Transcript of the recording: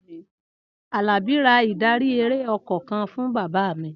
Alabi ra ìdarí-eré ọkọ̀ kan fún bàbá mi.